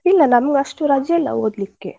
ಇಲ್ಲ ನಮ್ಗೆ ಅಷ್ಟು ರಜೆ ಇಲ್ಲ ಓದ್ಲಿಕ್ಕೆ.